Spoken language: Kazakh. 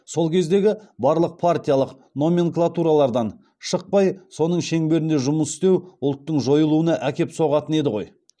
сол кездегі барлық партиялық номенклатуралардан шықпай соның шеңберінде жұмыс істеу ұлттың жойылуына әкеп соғатын еді ғой